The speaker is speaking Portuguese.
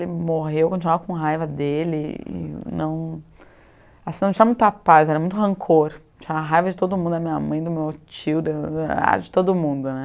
Ele morreu, eu continuava com raiva dele, e não... assim, não tinha muita paz, era muito rancor, tinha raiva de todo mundo, da minha mãe, do meu tio, de de ah, de todo mundo, né?